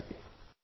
नमस्कार जी